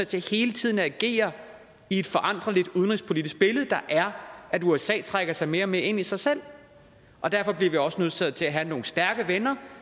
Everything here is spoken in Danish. til hele tiden at agere i et foranderligt udenrigspolitisk billede der er at usa trækker sig mere og mere ind i sig selv og derfor er vi også nødsaget til at have nogle stærke venner